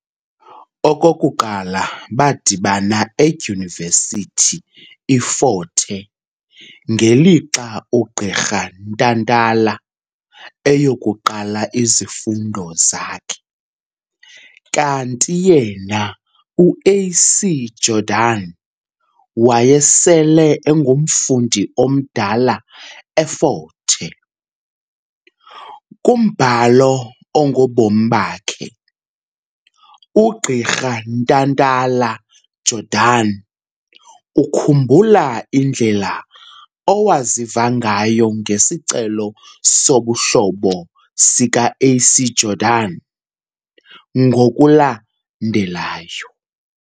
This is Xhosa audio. Okokuqala badibana edyunivesithi iFort Hare ngelixa uGqirha Ntantala eyokuqala izifundo zakhe, ukanti yena uA.C Jordan wayesele engumfundi omdala effort Hare. Kumbhalo ongobomi bakhe, ugqirha Ntantala-Jordan ukhumbula indlela owaziva ngayo ngesicelo sobuhlobo sika A.C Jordan ngokulandelayo.